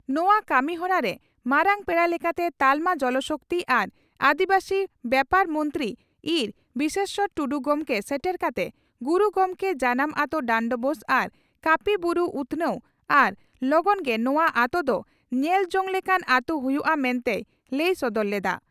ᱱᱚᱣᱟ ᱠᱟᱹᱢᱤᱦᱚᱨᱟ ᱨᱮ ᱢᱟᱨᱟᱝ ᱯᱮᱲᱟ ᱞᱮᱠᱟᱛᱮ ᱛᱟᱞᱢᱟ ᱡᱚᱞ ᱥᱚᱠᱛᱤ ᱟᱨ ᱟᱹᱫᱤᱵᱟᱹᱥᱤ ᱵᱭᱟᱯᱟᱨ ᱢᱚᱱᱛᱨᱤ ᱤᱸᱨ ᱵᱤᱥᱮᱥᱚᱨ ᱴᱩᱰᱩ ᱜᱚᱢᱠᱮ ᱥᱮᱴᱮᱨ ᱠᱟᱛᱮ ᱜᱩᱨᱩ ᱜᱚᱢᱠᱮ ᱡᱟᱱᱟᱢ ᱟᱹᱛᱳ ᱰᱟᱱᱰᱵᱳᱥ ᱟᱨ ᱠᱟᱹᱯᱤ ᱵᱩᱨᱩ ᱩᱛᱷᱱᱟᱹᱣ ᱟᱨ ᱞᱚᱜᱚᱱ ᱜᱮ ᱱᱚᱣᱟ ᱟᱹᱛᱚ ᱫᱚ ᱧᱮᱞ ᱡᱚᱝ ᱞᱮᱠᱟᱱ ᱟᱹᱛᱩ ᱦᱩᱭᱩᱜᱼᱟ ᱢᱮᱱᱛᱮᱭ ᱞᱟᱹᱭ ᱥᱚᱫᱚᱨ ᱞᱮᱫᱼᱟ ᱾